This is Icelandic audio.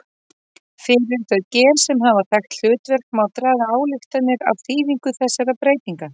Fyrir þau gen sem hafa þekkt hlutverk má draga ályktanir af þýðingu þessara breytinga.